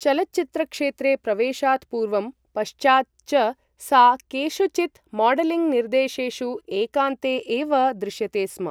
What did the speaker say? चलचित्रक्षेत्रे प्रवेशात् पूर्वं पश्चात् च सा केषुचित् मॉडलिंग् निर्देशेषु एकान्ते एव दृश्यते स्म ।